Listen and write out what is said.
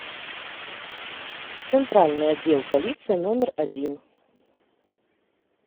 центральный отдел полиции номер один